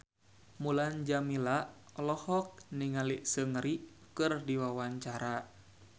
Mulan Jameela olohok ningali Seungri keur diwawancara